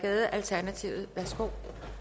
har